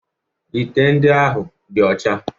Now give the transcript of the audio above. Ite ndị ahụ dị ọcha